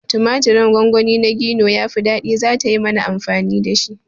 Tumaturin gongoni na Gino yafi ɗadi, zata yi mana amfani dashi